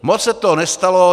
Moc se toho nestalo.